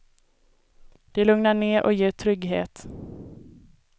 Det lugnar ner och ger trygghet.